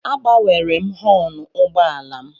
Agbanwere m họọnụ ụgbọala m.